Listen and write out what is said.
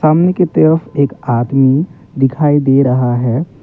सामने की तरफ एक आदमी दिखाई दे रहा है।